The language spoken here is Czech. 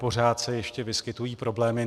Pořád se ještě vyskytují problémy.